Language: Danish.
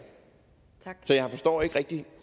så jeg forstår ikke rigtig